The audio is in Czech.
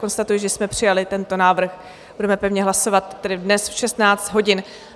Konstatuji, že jsme přijali tento návrh, budeme pevně hlasovat tedy dnes v 16 hodin.